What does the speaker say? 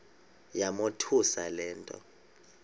yamothusa le nto